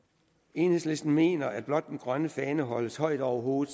enhedslisten mener at blot den grønne fane holdes højt over hovedet